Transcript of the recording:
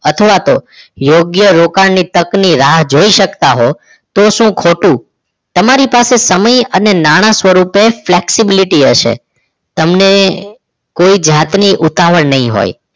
અથવા તો યોગ્ય રોકાણની તકની રાહ જોઈ શકતા હોવ તો શું ખોટું તમારી પાસે સમય અને નાણાં સ્વરૂપે flexibility હશે તમને કોઈ જાતની ઉતાવળ નહીં હોય